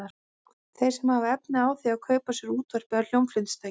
Þeir sem hafa efni á því að kaupa sér útvarp eða hljómflutningstæki.